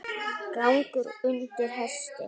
Gangur undir hesti.